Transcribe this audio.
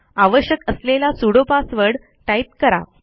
आवश्यक असलेला sudo password type करा